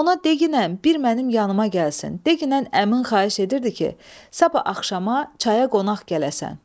Ona deqinən bir mənim yanıma gəlsin, deqinən əmim xahiş edirdi ki, sabah axşama çaya qonaq gələsən.